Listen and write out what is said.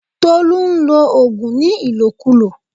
Tolú nlo ògùn ní ìlòkulò